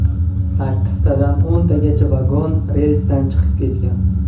Sakkiztadan o‘ntagacha vagon relsdan chiqib ketgan.